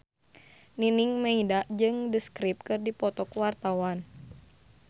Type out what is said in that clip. Nining Meida jeung The Script keur dipoto ku wartawan